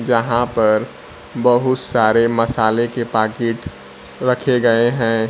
जहां पर बहुत सारे मसाले के पाकिट रखे गए हैं।